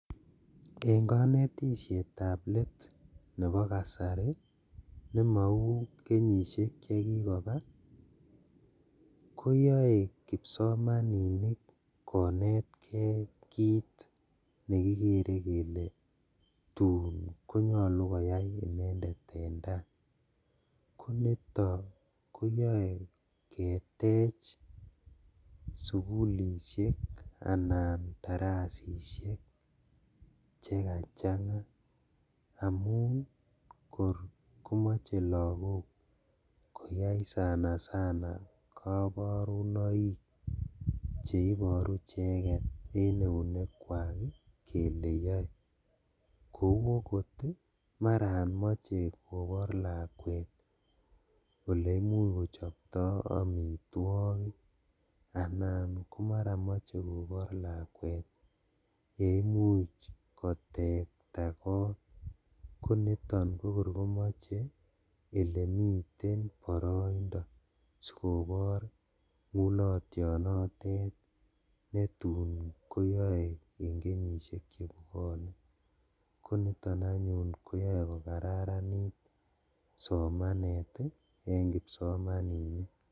En konetishetab let nebo kasari nemou kenyishek chekikoba koyoe kipsomaninik konetkee kit nekikere kole tun konyolu koyai inendet en tai, koniton koyoe ketech sugulishek anan darasishek chekachanga amun kor komoche lagok koyai sana sana koborunoik cheiboru icheket en eunekwak ii kele yoe kou okot maran moche kobor lakwet oleimuch kochopto omitwogik anan komoche maran kobor lakwet yeimuch kotekta kot koniton kokor komoche olemiten boroindo sikobor ngulotionotet netun koyoe en kenyishek chebwonen koniton anyun koyoe kokararanit somanet ii en kipsomaninik.